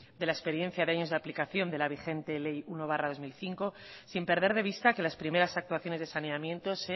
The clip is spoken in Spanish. de la experiencia de años de aplicación de la vigente ley uno barra dos mil cinco sin perder de vista que las primeras actuaciones de saneamiento se